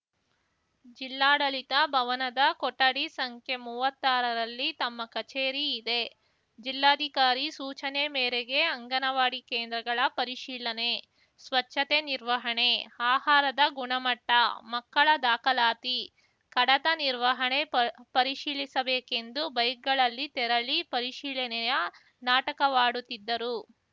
ಜಿಲ್ಲಾಡಳಿತ ಭವನದ ಕೊಠಡಿ ಸಂಖ್ಯೆ ಮುವ್ವಾತ್ತಾರರಲ್ಲಿ ತಮ್ಮ ಕಚೇರಿ ಇದೆ ಜಿಲ್ಲಾಧಿಕಾರಿ ಸೂಚನೆ ಮೇರೆಗೆ ಅಂಗನವಾಡಿ ಕೇಂದ್ರಗಳ ಪರಿಶೀಲನೆ ಸ್ವಚ್ಛತೆ ನಿರ್ವಹಣೆ ಆಹಾರದ ಗುಣಮಟ್ಟ ಮಕ್ಕಳ ದಾಖಲಾತಿ ಕಡತ ನಿರ್ವಹಣೆ ಪರ್ ಪರಿಶೀಲಿಸಬೇಕೆಂದು ಬೈಕ್‌ಗಳಲ್ಲಿ ತೆರಳಿ ಪರಿಶೀಲನೆಯ ನಾಟಕವಾಡುತ್ತಿದ್ದರು